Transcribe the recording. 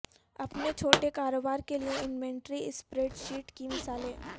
اپنے چھوٹے کاروبار کے لئے انوینٹری اسپریڈ شیٹ کی مثالیں